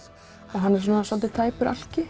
hann er svolítið tæpur